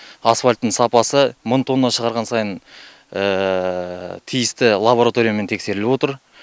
асфальттың сапасы мың тонна шығарған сайын тиісті лабораториямен тексеріліп отыр